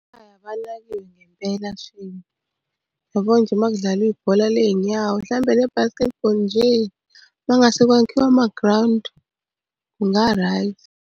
Hhayi abanakile ngempela shame. Yabo nje uma kudlalwa ibhola ley'nyawo, mhlampe ne-basketball nje. Uma kungase kwakhiwe amagrawundi kunga-right.